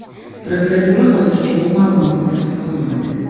Prokuratura hozircha bu ma’lumotni tasdiqlamadi.